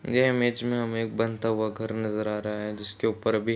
ये इमेज में हमें एक बनता हुआ घर नजर आ रहा है जिसके ऊपर अभी --